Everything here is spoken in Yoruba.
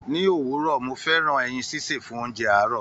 Ni òwúrọ̀, mo fẹ́ràn ẹyin sísè fún oúnjẹ àárò.